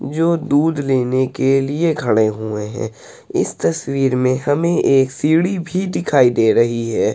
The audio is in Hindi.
जो दूध लेने के लिए खड़े हुए है। इस तस्वीर मै हमें एक सीढ़ी भी दिखाई दे रही है।